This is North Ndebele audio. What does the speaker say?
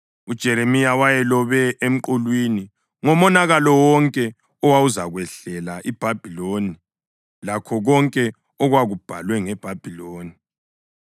UJeremiya wayelobe emqulwini ngomonakalo wonke owawuzakwehlela iBhabhiloni lakho konke okwakubhalwe ngeBhabhiloni.